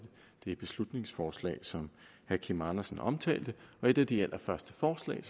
det beslutningsforslag som herre kim andersen omtalte og et af de allerførste forslag